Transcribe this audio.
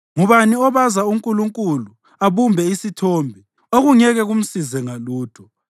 Ngubani obaza unkulunkulu abumbe isithombe, okungeke kumsize ngalutho?